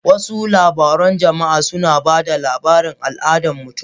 Wasu labarun jama'a suna ba da labarin al'adun mutum.